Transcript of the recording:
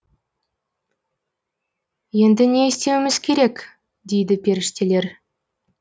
енді не істеуіміз керек дейді періштелер